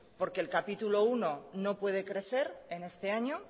porque el capítulo primero no puede crecer en este año